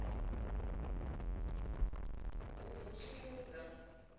kha ḓi ṱoḓa u vusuludzwa